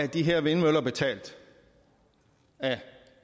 de her vindmøller være betalt af